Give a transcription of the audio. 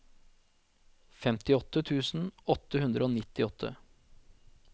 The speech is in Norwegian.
femtiåtte tusen åtte hundre og nittiåtte